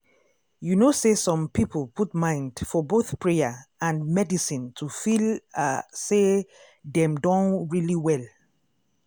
you know say some people put mind for both prayer and medicine to feel ah say dem don really well.